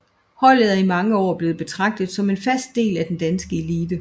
Holdet er i mange år blevet betragtet som en fast del af den danske elite